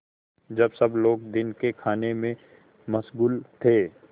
जब सब लोग दिन के खाने में मशगूल थे